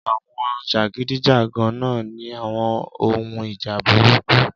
Àwọn jàgídíjàgan náà ní àwon ohun ìjà burúkú